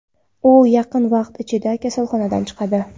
U yaqin vaqt ichida kasalxonadan chiqadi.